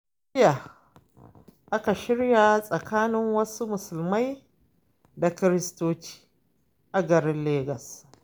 Jiya aka shirya tsakanin wasu musulmai da kiristocin a garin legas.